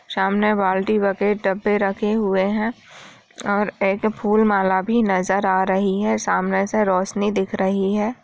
सामने बाल्टी बकेट डब्बे रखे हुए है और एक फूल माला भी नजर आ रहा है सामने से रोशनी दिख रही है।